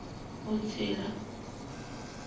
vhutsila